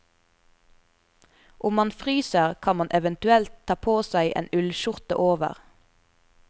Om man fryser kan man eventuelt ta på seg en ullskjorte over.